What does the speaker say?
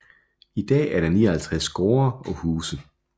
I dag er der 59 gårde og huse